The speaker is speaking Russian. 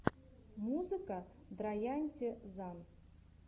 музыка драянте зан